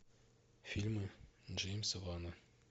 фильмы джеймса вана